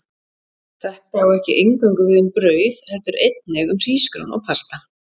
Þetta á ekki eingöngu við um brauð, heldur einnig hrísgrjón og pasta.